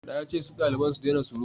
na ce su dalibai su dena surutu!